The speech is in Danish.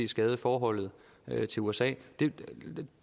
skade forholdet til usa det